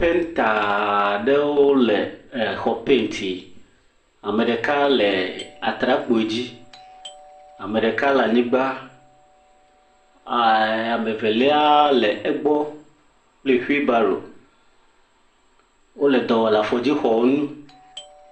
Penta aɖewo le xɔ pentim. Ame ɖeka le atrakpui dzi, ame ɖeka le anyigba. Ame evelia le egbɔ kple whibaro. Wole dɔ lɔm le afɔdzixɔ ŋu.